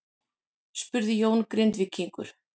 spurði Jón Grindvíkingur.